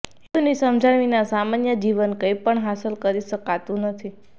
હેતુની સમજણ વિના સામાન્ય જીવન કંઈપણ હાંસલ કરી શકાતું નથી